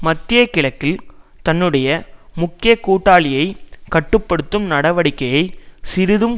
மத்திய கிழக்கில் தன்னுடைய முக்கிய கூட்டாளியை கட்டு படுத்தும் நடவடிக்கையை சிறிதும்